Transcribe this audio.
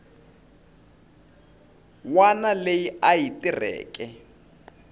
wana leyi a yi tirheke